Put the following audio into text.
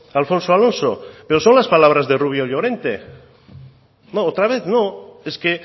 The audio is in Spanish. alfonso alonso pero son las palabras de rubio llorente no otra vez no es que